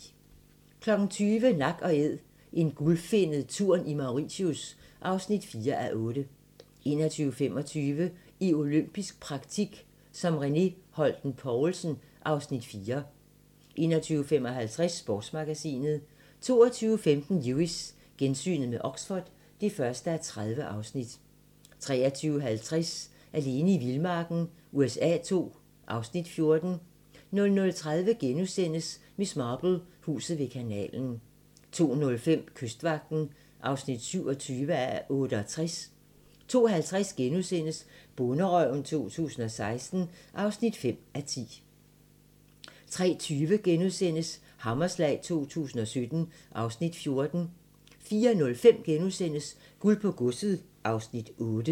20:00: Nak & Æd - en gulfinnet tun i Mauritius (4:8) 21:25: I olympisk praktik som René Holten Poulsen (Afs. 4) 21:55: Sportsmagasinet 22:15: Lewis: Gensyn med Oxford (1:30) 23:50: Alene i vildmarken USA II (Afs. 14) 00:30: Miss Marple: Huset ved kanalen * 02:05: Kystvagten (27:68) 02:50: Bonderøven 2016 (5:10)* 03:20: Hammerslag 2017 (Afs. 14)* 04:05: Guld på godset (Afs. 8)*